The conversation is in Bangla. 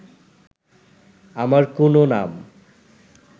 আমার কুনো নাম